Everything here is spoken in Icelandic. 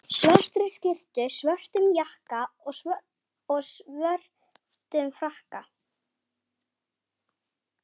svartri skyrtu, svörtum jakka og svörtum frakka.